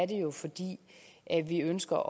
det jo fordi vi ønsker